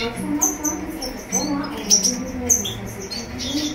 Maro samihafa ny resaka vaovao ao anatiny intony karazana gazety intony.